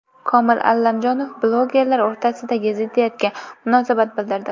Komil Allamjonov blogerlar o‘rtasidagi ziddiyatga munosabat bildirdi .